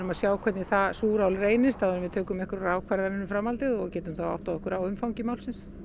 að sjá hvernig það súrál reynist áður en við tökum ákvörðun um framhaldið og getum áttað okkur á umfangi málsins